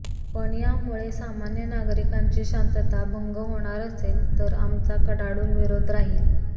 पण यामुळे सामान्य नागरिकांची शांतता भंग होणार असेल तर आमचा कडाडून विरोध राहील